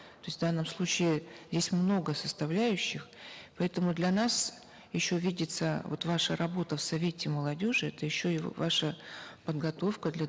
то есть в данном случае здесь много составляющих поэтому для нас еще видится вот ваша работа в совете молодежи это еще и ваша подготовка для